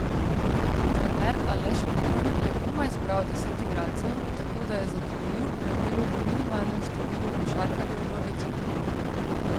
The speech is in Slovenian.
Trener Aleš Pipan je komaj zbral deset igralcev, tako da je zadovoljil pravilu o minimalnem številu košarkarjev v ekipi.